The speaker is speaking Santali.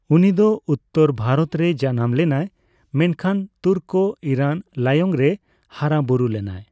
ᱩᱱᱤ ᱫᱚ ᱩᱛᱛᱚᱨ ᱵᱷᱟᱨᱚᱛ ᱨᱮ ᱡᱟᱱᱟᱢ ᱞᱮᱱᱟᱭ ᱢᱮᱱᱠᱷᱟᱱ ᱛᱩᱨᱠᱳᱼᱤᱨᱟᱱ ᱞᱟᱭᱚᱝ ᱨᱮ ᱦᱟᱨᱟᱼᱵᱩᱨᱩ ᱞᱮᱱᱟᱭ ᱾